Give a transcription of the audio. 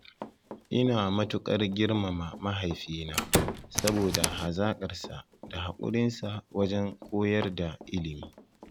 Ina matuƙar girmama mahaifina saboda hazaƙarsa da hakurinsa wajen koyar da ilimi.